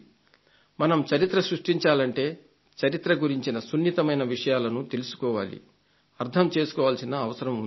మనం చరిత్ర సృష్టించాలంటే చరిత్ర గురించిన సున్నితమైన విషయాలను తెలుసుకొని అర్థం చేసుకోవాల్సిన అవసరం ఉంది